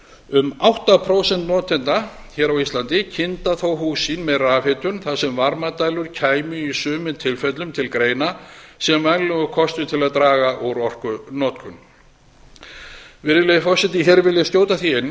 um átta prósent notenda hér á íslandi kynda þó hús sín með rafhitun þar sem varmadælur kæmu í sumum tilfellum til greina sem vænlegur kostur til að draga úr orkunotkun virðulegi forseti hér vil ég skjóta því inn